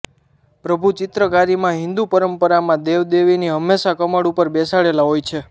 પ્રભુ ચિત્રકારીમાં હિંદુ પરંપરામાં દેવ દેવીની હમેંશા કમળ ઉપર બેસાડેલા હોય છે